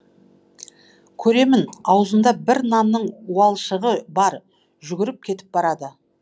көремін аузында бір нанның уалшығы бар жүгіріп кетіп барады